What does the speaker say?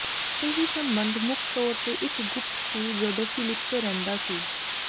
ਇਹ ਸੰਬੰਧ ਮੁੱਖ ਤੌਰ ਤੇ ਇੱਕ ਗੁਪਤ ਸੀ ਜਦੋਂ ਫ਼ਿਲਿੱਪੈ ਰਹਿੰਦਾ ਸੀ